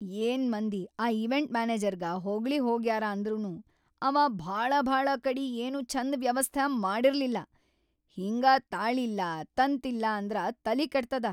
ಏನ್ ಮಂದಿ ಆ ಈವೆಂಟ್‌ ಮ್ಯಾನೆಜರ್ಗ ಹೊಗಳಿ ಹೋಗ್ಯಾರ ಅಂದ್ರನೂ ಅವಾ ಭಾಳಭಾಳ ಕಡಿ ಏನೂ ಛಂದ ವ್ಯವಸ್ಥಾ ಮಾಡಿರ್ಲಿಲ್ಲಾ.‌ ಹಿಂಗ ತಾಳಿಲ್ಲಾ ತಂತಿಲ್ಲಾ ಅಂದ್ರ ತಲಿ ಕೆಡ್ತದ.